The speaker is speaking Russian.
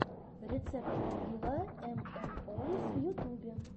рецепт попьюла эм эм оус в ютубе